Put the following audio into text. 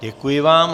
Děkuji vám.